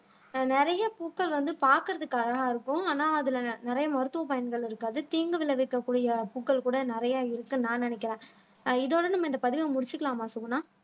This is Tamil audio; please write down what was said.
ஆஹ் நிறைய பூக்கள் வந்து பார்க்கிறதுக்காகதான் இருக்கும் ஆனால் அதுல நி நிறைய மருத்துவ பயன்கள் இருக்காது தீங்கு விளைவிக்கக்கூடிய பூக்கள் கூட நிறைய இருக்குன்னு நான் நினைக்கிறேன் அஹ் இதோட நம்ம இந்த பதிவை முடிச்சுக்கலாமா சுகுணா